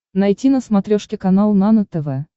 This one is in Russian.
найти на смотрешке канал нано тв